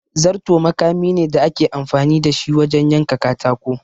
Zarto makami ne da ake amfani da shi wajen yanka katako.